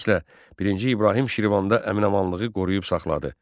Beləliklə, birinci İbrahim Şirvanda əmin-amanlığı qoruyub saxladı.